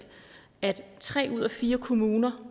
at tre ud af fire kommuner